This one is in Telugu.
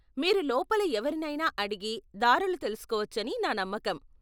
మీరు లోపల ఎవరినైనా అడిగి దారులు తెలుసుకోవచ్చని నా నమ్మకం.